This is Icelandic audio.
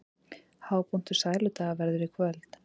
Hápunktur Sæludaga verður í kvöld